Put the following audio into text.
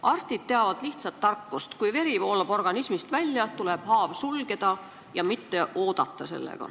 Arstid teavad lihtsat tarkust: kui veri voolab organismist välja, tuleb haav sulgeda ja mitte sellega oodata.